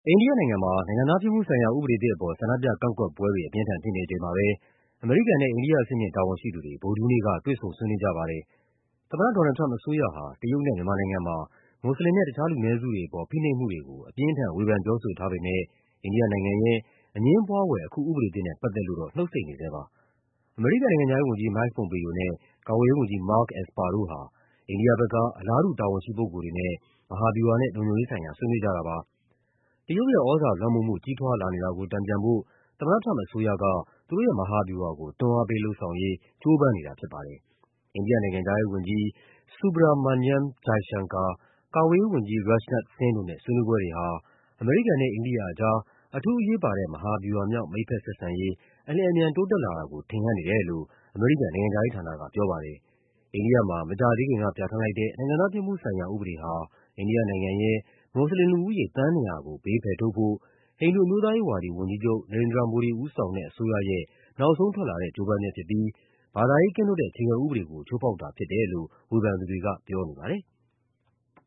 အိန္ဒိယနိုင်ငံမှာ နိုင်ငံသားဖြစ်မှုဆိုင်ရာ ဥပဒေသစ် အပေါ် ဆန္ဒပြကန့်ကွက်ပွဲတွေ အပြင်းအထန် ဖြစ်နေချိန်မှာပဲ အမေရိကန်နဲ့ အိန္ဒိယ အဆင့်မြင့် တာဝန်ရှိသူတွေ ဗုဒ္ဓဟူးနေ့က တွေ့ဆုံဆွေးနွေးကြပါတယ်။ သမ္မတ ဒေါ်နယ်လ်ဒ် ထရမ့်ပ် အစိုးရဟာ တရုတ်နဲ့ မြန်မာနိုင်ငံမှာ မွတ်စလင်နဲ့ တခြားလူနည်းစုတွေ အပေါ် ဖိနှိပ်မှုတွေကို အပြင်းအထန် ဝေဖန်ပြောဆို ထားပေမယ့် အိန္ဒိယနိုင်ငံရဲ့ အငြင်းပွားဖွယ် အခုဥပဒေသစ်နဲ့ ပတ်သက်လို့ နှုတ်ဆိတ်နေဆဲပါ။ အမေရိကန် နိုင်ငံခြားရေးဝန်ကြီး Mike Pompeo နဲ့ ကာကွယ်ရေးဝန်ကြီး Mark Esper တို့ဟာ အိန္ဒိယဘက်က အလားတူ တာဝန်ရှိ ပုဂ္ဂိုလ်တွေနဲ့ မဟာဗျူဟာနဲ့ လုံခြုံရေးဆိုင်ရာ ဆွေးနွေးကြတာပါ။ တရုတ်ရဲ့ သြဇာလွှမ်းမိုးမှု ကြီးထွားလာနေတာကို တန်ပြန်ဖို့ သမ္မတထရမ့်ပ် အစိုးရက သူတို့ရဲ့ မဟာဗျူဟာကို တွန်းအားပေး လုပ်ဆောင်ရေး ကြိုးပမ်းနေတာဖြစ်ပါတယ်။ အိန္ဒိယနိုင်ငံခြားရေးဝန်ကြီး Subrahmanyam Jaishankar ၊ ကာကွယ်ရေးဝန်ကြီး Rajnath Singh တို့နဲ့ ဆွေးနွေးပွဲတွေဟာ အမေရိကန်နဲ့ အိန္ဒိယအကြား အထူးအရေးပါတဲ့ မဟာဗျူမြောက် မိတ်ဘက်ဆက်ဆံရေး အလျင်အမြန် တိုးတက်လာတာကို ထင်ဟပ်နေတယ်လို့ အမေရိကန် နိုင်ငံခြားရေးဌာနက ပြောပါတယ်။ အိန္ဒိယမှာ မကြာသေးခင်က ပြဌာန်းလိုက်တဲ့ နိုင်ငံသားဖြစ်မှုဆိုင်ရာဥပဒေဟာ အိန္ဒိယနိုင်ငံရဲ့ မွတ်စလင်လူဦးရေ သန်း ၂၀၀ ကို ဘေးဖယ်ထုတ်ဖို့ ဟိန္ဒိူအမျိုးသားရေးဝါဒီ ဝန်ကြီးချုပ် Narenda Modi ဦးဆောင်တဲ့အစိုးရရဲ့ နောက်ဆုံးထွက်လာတဲ့ ကြိုးပမ်း ချက်ဖြစ်ပြီး ဘာသာရေးကင်းလွတ်တဲ့ အခြေခံဥပဒေကို ချိုးဖောက်တာဖြစ်တယ်လို့ ဝေဖန်သူတွေက ပြောထားပါတယ်။